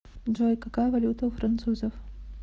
джой какая валюта у французов